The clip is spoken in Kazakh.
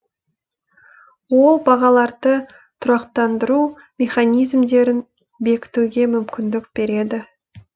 ол бағаларды тұрақтандыру механизмдерін бекітуге мүмкіндік береді